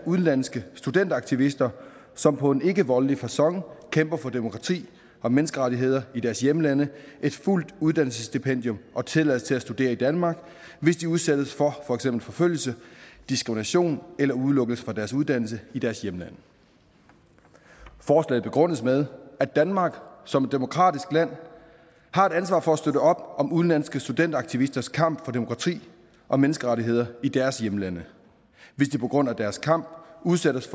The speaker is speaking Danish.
udenlandske studenteraktivister som på en ikkevoldelig facon kæmper for demokrati og menneskerettigheder i deres hjemlande et fuldt uddannelsesstipendium og tilladelse til at studere i danmark hvis de udsættes for for eksempel forfølgelse diskrimination eller udelukkelse fra deres uddannelse i deres hjemlande forslaget begrundes med at danmark som et demokratisk land har et ansvar for at støtte op om udenlandske studenteraktivisters kamp for demokrati og menneskerettigheder i deres hjemlande hvis de på grund af deres kamp udsættes